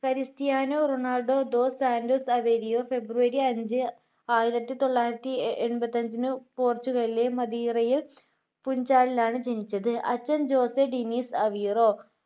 Cristiano Ronaldo dos Santos Aveiro ഫെബ്രുവരി അഞ്ചു ആയിരത്തി തൊള്ളായിരത്തി എൺപത്തിഅഞ്ചിന് പോർട്ടുഗലിൽ മദീറയിൽ കുഞ്ചാലിൽ ആണ് ജനിച്ചത് അച്ഛൻ ജോസ് ഡെന്നിസ് അവിറോ